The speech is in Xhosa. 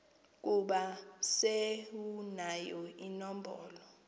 ukuba sewunayo inombolo